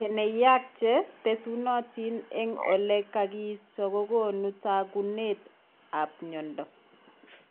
Keneyaak che tesunatin en ole kakiisto kokoonu taakunetab myondo.